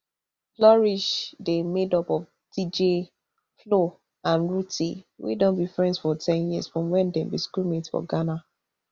flourish dey made up of dj flo and rhuthee wey don be friends for ten years from wen dem be schoolmates for ghana